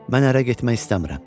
Mən ərə getmək istəmirəm.